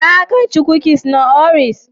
Za ka ci kukis na Oreos?